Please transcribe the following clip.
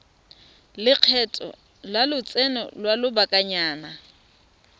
lekgetho la lotseno lwa lobakanyana